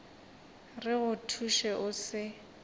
re go thuše o se